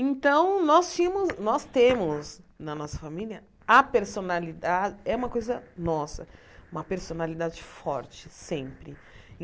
Então, nós tinhamos nós temos na nossa família a personalidade, é uma coisa nossa, uma personalidade forte, sempre.